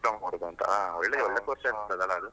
Diploma ಮಾಡುದಂತ .